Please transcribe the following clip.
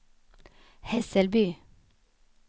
Hässelby